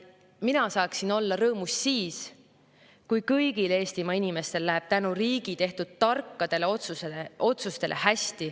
Mina saaksin olla rõõmus siis, kui kõigil Eestimaa inimestel läheb hästi tänu riigi tehtud tarkadele otsustele.